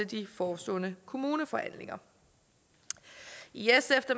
de forestående kommuneforhandlinger i sf